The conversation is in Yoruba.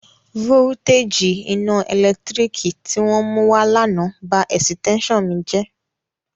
Vówútéjì iná ẹ̀lẹ́tírík tí wọ́n mú wá l'ánà ba ẹ̀sìtẹ́ṣàn mi jẹ́